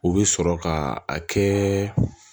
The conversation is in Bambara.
O bɛ sɔrɔ ka a kɛ